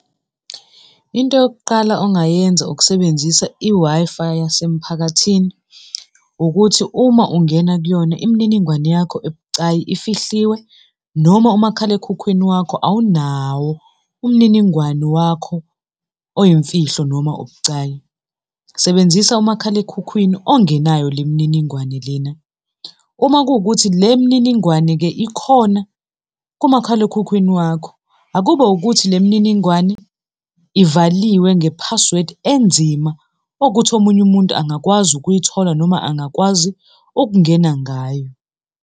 Into yokuqala ongayenza ukusebenzisa i-Wi-Fi yasemphakathini ukuthi uma ungena kuyona imininingwane yakho ebucayi ifihliwe noma umakhalekhukhwini wakho awunawo umniningwane wakho oyimfihlo noma obucayi. Sebenzisa umakhalekhukhwini ongenayo le mininingwane lena. Uma kuwukuthi le mininingwane-ke ikhona kumakhalekhukhwini wakho, akube ukuthi le mininingwane ivaliwe nge-password enzima ukuthi omunye umuntu angakwazi ukuyithola, noma angakwazi ukungena ngayo.